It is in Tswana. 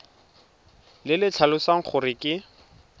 le le tlhalosang gore ke